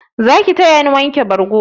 Zaki tayani wanke bargo?